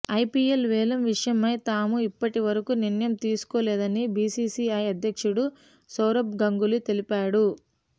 IPL వేలం విషయమై తాము ఇప్పటి వరకూ నిర్ణయం తీసుకోలేదని బీసీసీఐ అధ్యక్షుడు సౌరభ్ గంగూలీ తెలిపాడు